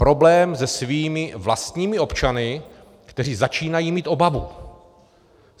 Problém se svými vlastními občany, kteří začínají mít obavu.